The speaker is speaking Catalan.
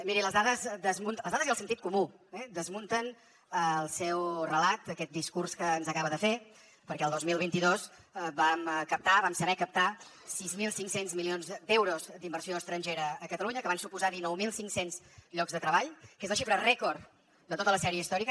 miri les dades i el sentit comú desmunten el seu relat aquest discurs que ens acaba de fer perquè el dos mil vint dos vam captar vam saber captar sis mil cinc cents milions d’euros d’inversió estrangera a catalunya que van suposar dinou mil cinc cents llocs de treball que és la xifra rècord de tota la sèrie històrica